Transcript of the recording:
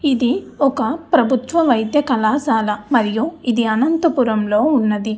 ఇది ఒక ప్రభుత్వ వైద్య కళాశాల మరియు ఇది అనంతపురం లో ఉన్నది.